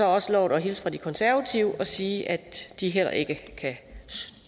også lovet at hilse fra de konservative og sige at de heller ikke kan